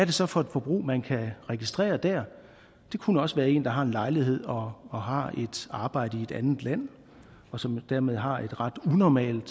det så for et forbrug man kan registrere der det kunne også være en der har en lejlighed og har et arbejde i et andet land og som dermed har et ret unormalt